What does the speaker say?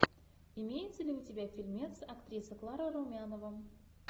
имеется ли у тебя фильмец актриса клара румянова